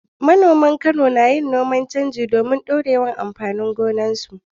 Manoman Kano na yin aikin noman canji domin ɗorewar amfanin gona a gonakinsu.